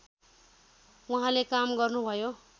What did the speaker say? उहाँले काम गर्नुभयो